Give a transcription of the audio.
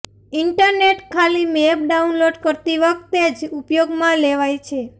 internet ખાલી map download કરતી વખતે જ ઉપયોગમાં લેવાય છે